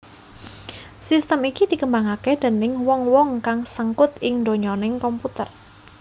Sistem iki dikembangaké déning wong wong kang sengkut ing ndonyaning komputer